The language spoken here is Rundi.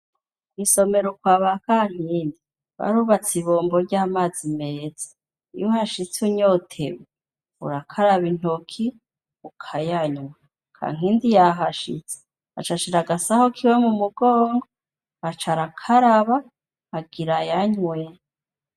Kw’isomero ukwa ba kankindi barubatse ibombo ry'amazi meza iyohashitse unyotewe urakaraba intoki ukayanywa, kankindi yahashitse acashira agasaho kiwe mu mugongo acara akaraba agirayanywe.